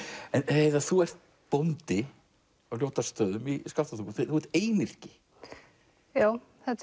heiða þú ert bóndi á Ljótarstöðum í Skaftártungu þú ert einyrki já þetta